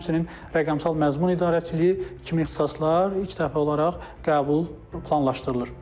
Həmçinin rəqəmsal məzmun idarəçiliyi kimi ixtisaslar ilk dəfə olaraq qəbul planlaşdırılır.